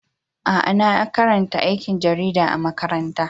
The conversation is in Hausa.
Aa, na karanta aikin jarida a'makaranta.